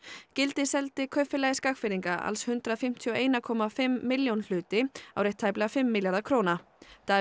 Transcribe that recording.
gildi seldi Kaupfélagi Skagfirðinga alls hundrað fimmtíu og eina komma fimm milljón hluti á rétt tæplega fimm milljarða króna Davíð